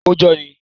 Ó jọ ọ́ ni.